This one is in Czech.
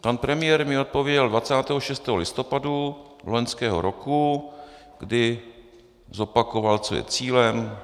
Pan premiér mi odpověděl 26. listopadu loňského roku, kdy zopakoval, co je cílem.